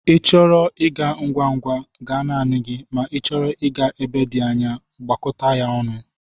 Ị chọrọ ịga ngwa ngwa, gaa naanị gị ma n'ichọrọ ịga ebe dị anya, gakọta ya ọnụ.